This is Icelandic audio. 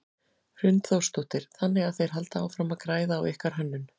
Hrund Þórsdóttir: Þannig að þeir halda áfram að græða á ykkar hönnun?